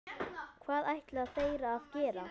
Hvað ætla þeir að gera?